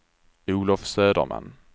Olof Söderman